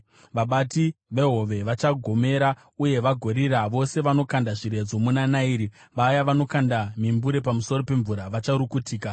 Vabati vehove vachagomera uye vagorira, vose vanokanda zviredzo muna Nairi; vaya vanokanda mimbure pamusoro pemvura vacharukutika.